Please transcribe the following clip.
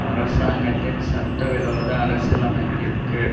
அரசாங்கத்தின் சட்ட விரோத அரசியலமைப்பிற்கு